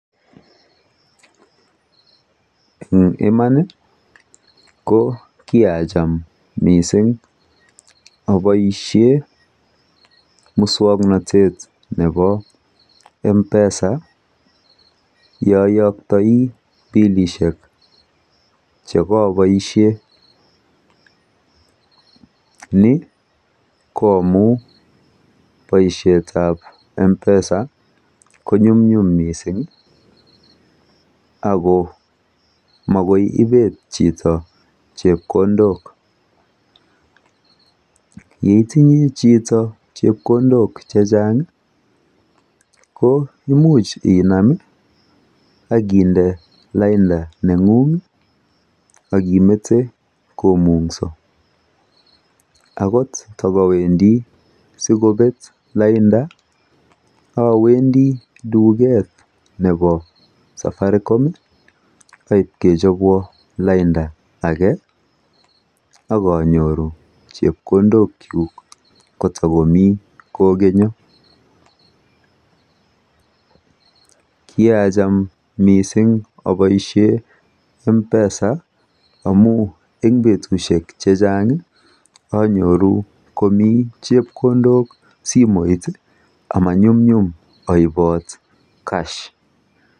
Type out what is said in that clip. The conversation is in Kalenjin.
Eng iman ko kiacham mising apoishe muswoknotet nepo mpesa yooyoktoi pilishek chekaapoishe, ni ko amu poishetap mpesa konyumnyum mising ako makoi ipet chito chepkondok. Yeitinye chito chepkondok chechang ko imuch inam akinde lainda neng'ung akimete komung'so akot takawendi sikobet lainda awendi duket nepo Safaricom aipkechopwo lainda ake akanyoru chepkondokchuk kotakomi kokonyo. Kiacham mising apoishe mpesa amu eng betushek chechang anyoru komi chepkondok simoit amanyunyum aipot cash.